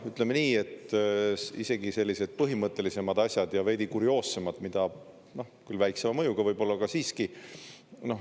Ütleme nii, et isegi sellised põhimõttelisemad asjad ja veidi kurioossemad, mida küll väiksema mõjuga võib-olla, aga siiski.